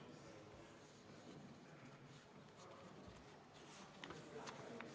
Istungi lõpp kell 18.28.